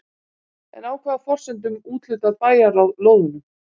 En á hvaða forsendum úthlutar bæjarráð lóðunum?